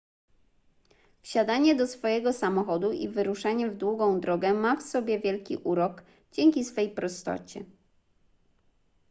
wsiadanie do swojego samochodu i wyruszanie w długą drogę ma w sobie wielki urok dzięki swej prostocie